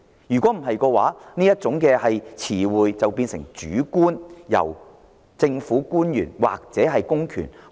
否則，這個說法便會變得主觀，任由政府官員或公權解讀。